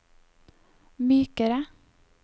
mykere